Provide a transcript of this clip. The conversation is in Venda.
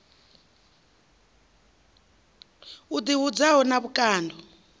i ḓi hudzaho na vhukando